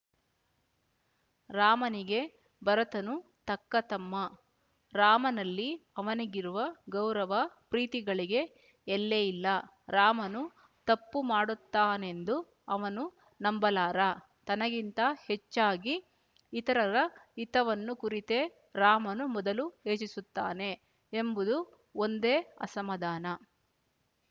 ರಾಮನಿಗೆ ಭರತನೂ ತಕ್ಕ ತಮ್ಮ ರಾಮನಲ್ಲಿ ಅವನಿಗಿರುವ ಗೌರವ ಪ್ರೀತಿಗಳಿಗೆ ಎಲ್ಲೆಯಿಲ್ಲ ರಾಮನು ತಪ್ಪು ಮಾಡುತ್ತಾನೆಂದು ಅವನು ನಂಬಲಾರ ತನಗಿಂತ ಹೆಚ್ಚಾಗಿ ಇತರರ ಹಿತವನ್ನು ಕುರಿತೇ ರಾಮನು ಮೊದಲು ಯೋಚಿಸುತ್ತಾನೆ ಎಂಬುದು ಒಂದೇ ಅಸಮಾಧಾನ